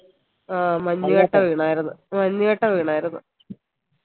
ആ മഞ്ഞ് കട്ട വീണായിരുന്നു മഞ്ഞ് കട്ട വീണായിരുന്നു